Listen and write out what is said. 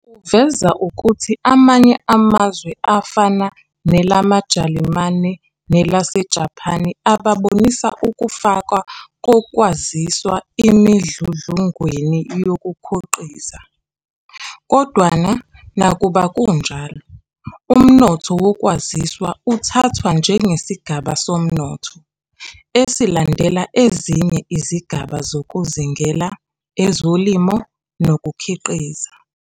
Uveza ukuthi amanye amazwe afana nelamaJalimane nelaseJaphani abonisa ukufakwa kokwaziswa emidludlungweni yokukhoqiza. Kodwana nakuba kunjalo, umnotho wokwaziswa uthathwa njengesigaba somnotho, esilandela ezinye izigaba zokuzingela, Ezolimo, nokukhiqiza.